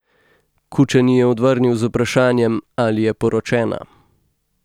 Kučan ji je odvrnil z vprašanjem, ali je poročena.